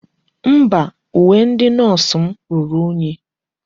Mba, uwe ndi nọọsụ m ruru unyi.